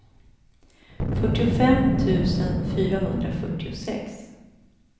fyrtiofem tusen fyrahundrafyrtiosex